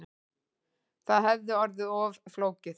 Það hefði orðið of flókið